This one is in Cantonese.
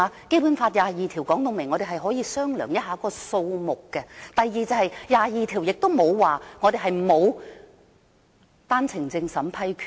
《基本法》第二十二條說明我們可以商量一下這個數目；第二，第二十二條亦沒有說過我們沒有單程證審批權。